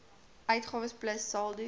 uitgawes plus saldo